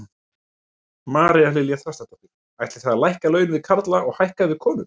María Lilja Þrastardóttir: Ætlið þið að lækka laun við karla og hækka við konur?